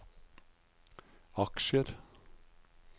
aksjer